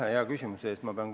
Aitäh hea küsimuse eest!